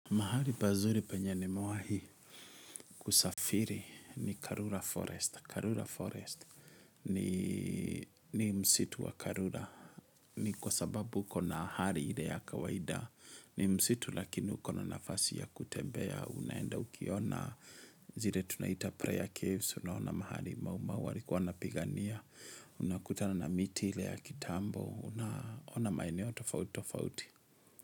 Mahari pazuri penye nimewahi kusafiri ni Karura Forest. Karura Forest ni msitu wa Karura. Ni kwa sababu kuna hali ile ya kawaida. Ni msitu lakini huko na nafasi ya kutembea. Unaenda ukiona zile tunaita prayer caves. Unaona mahali maumau. Walikuwa wanapigania. Unakutana na miti ile ya kitambo. Unaona maeneo tofauti tofauti.